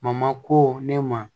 ko ne ma